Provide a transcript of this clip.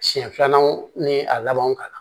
Siɲɛ filanan ni a labanw kama